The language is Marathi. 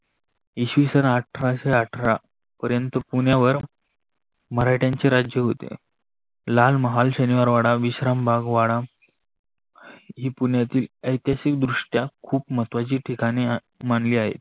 इसवी सन आठराशे आठरा पर्यंत पुण्यावर पुण्यावर मराठाच्या राज्य होते. लालमहाल, शनिवारवाडा, विश्रामबाग वाडा ही पुण्यातील ऐतिहासिकद्रुष्ट्या खूप महत्त्वाचे ठिकाने मानली आहे.